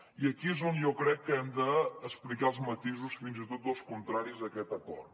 i aquí és on jo crec que hem d’explicar els matisos fins i tot dels contraris a aquest acord